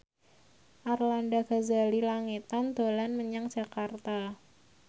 Arlanda Ghazali Langitan dolan menyang Jakarta